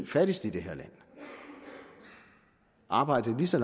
fattigste i det her land arbejdede i lige så